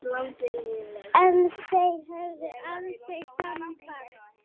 En þeir höfðu aldrei samband